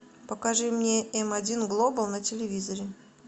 покажи мне м один глобал на телевизоре